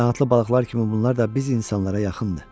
Qanadlı balıqlar kimi bunlar da biz insanlara yaxındır.